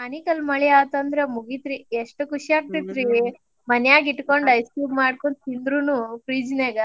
ಆನಿಕಲ್ ಮಳಿ ಆತಂದ್ರ್ ಮುಗಿತ್ರಿ ಎಷ್ಟ್ ಖುಷಿ ಆಗ್ತಿತ್ರಿ. ಮನ್ಯಾಗಿಟ್ಕೊಂಡ್ ice cream ಮಾಡ್ಕೊಂಡ್ ತಿಂದ್ರುನು fridge ನ್ಯಾಗ